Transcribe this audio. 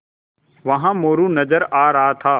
वहाँ मोरू नज़र आ रहा था